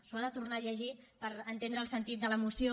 s’ho ha de tornar a llegir per entendre el sentit de la moció